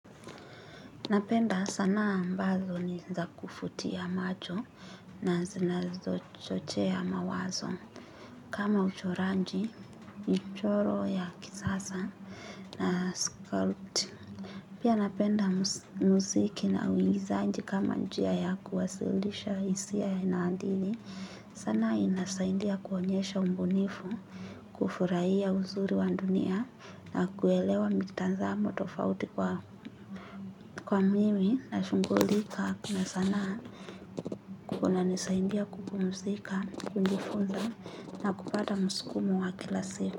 Napenda, sanaa ambazo ni za kufutia macho na zinazo chochea mawazo. Kama uchoranji, ni choro ya kisasa, na sculpt. Pia napenda muziki na uigizaji kama njia ya kuwasilisha hisia inaandili. Sana inasaidia kuonyesha mbunifu, kufurahia uzuri wa dunia na kuelewa mitazamo tofauti kwa, mimi. Na shunghulika, kuu na sanaa kunanisaindia kupumusika, kunifunza na kupata muskumu wa kila se.